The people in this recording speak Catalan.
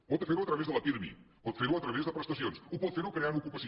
pot fer ho a través de la pirmi pot fer ho a través de prestacions ho pot fer creant ocupació